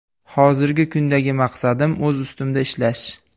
Hozirgi kundagi maqsadim - o‘z ustimda ishlash.